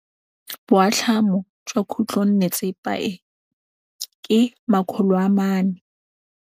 Boatlhamô jwa khutlonnetsepa e, ke 400.